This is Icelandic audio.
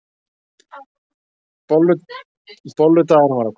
Bolludagurinn var að koma!